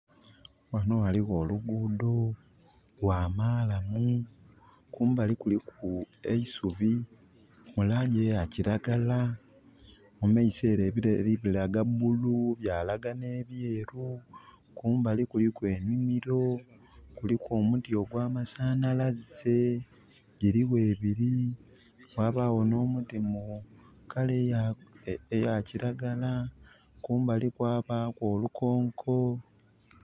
Ghanho ghaligho olugudho, lwa malamu, kumbali kuliku eisubi mu langi eya kiragala. Mu maiso ere ebireli bilaga bulu byalaga n'ebyeeru, kumbali kuliku enhimiro kuliku omuti ogwamasanhalaze, giligho ebiri. Ghabagho n'omuti mu kala eya kiragala. Kumbali kwabaku olukonko.